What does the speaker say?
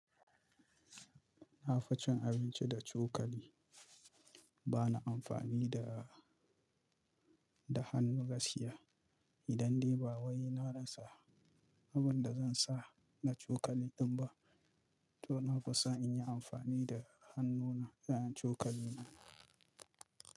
Na fi cin abinci da cokali. Ba na amfani da, da hannu gaskiya. Idan dai ba wai na rasa abin da zan sa na cokali din ba, to na fi son inyi amfani da hannu na wurin cokali na.